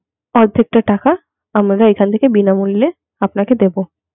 অর্ধেক টা টাকা আমরা এখান থেকে বিনামূল্যে আপনাকে দেব.